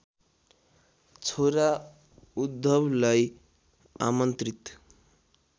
छोरा उद्धवलाई आमन्त्रित